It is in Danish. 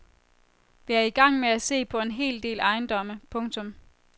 Vi er i gang med at se på en hel del ejendomme. punktum